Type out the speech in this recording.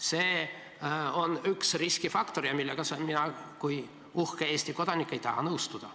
See on üks riskifaktor, millega mina kui uhke Eesti kodanik ei taha nõustuda.